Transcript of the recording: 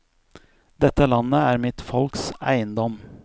Dette landet er mitt folks eiendom.